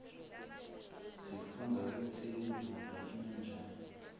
sifundza kutsi imvula ina njani